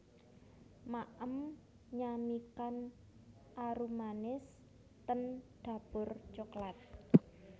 Maem nyamikan arumanis ten Dapur Coklat